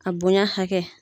A bonya hakɛ